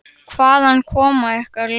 Magnús: Hvaðan koma ykkar lömb?